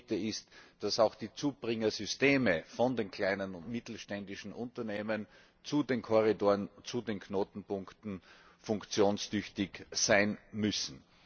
Und das Dritte ist, dass auch die Zubringersysteme von den kleinen und mittelständischen Unternehmen zu den Korridoren, zu den Knotenpunkten funktionstüchtig sein müssen.